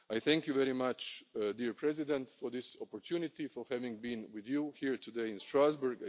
has. I thank you very much, Mr President, for this opportunity and for having been with you here today in Strasbourg.